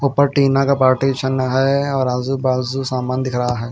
ऊपर टीना का पार्टीशन है और आजू बाजू सामान दिख रहा है।